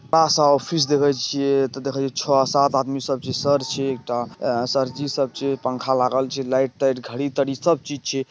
फीस देवे छिये त दिखई छ सात आदमी सर छे ऊपर पंखा लागल छे लाइट - वाइट घड़ी-तड़ी सब चीज छे।